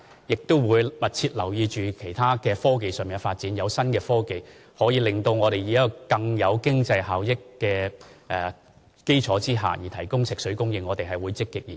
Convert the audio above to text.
我們也會密切留意其他科技上的發展，當有新科技可以讓我們在更具經濟效益的基礎上提供食水供應，我們會積極研究。